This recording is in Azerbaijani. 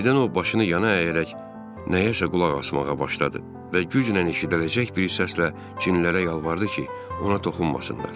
Birdən o başını yana əyərək nəyəsə qulaq asmağa başladı və güclə eşidiləcək bir səslə cinlərə yalvardı ki, ona toxunmasınlar.